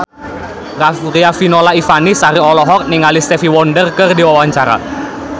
Riafinola Ifani Sari olohok ningali Stevie Wonder keur diwawancara